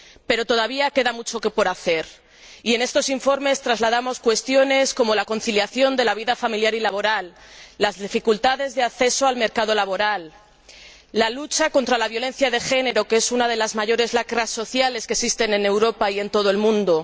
Pero todavía queda mucho por hacer y en estos informes trasladamos cuestiones como la conciliación de la vida familiar y laboral, las dificultades de acceso al mercado laboral o la lucha contra la violencia de género, que es una de las mayores lacras sociales que existen en Europa y en todo el mundo.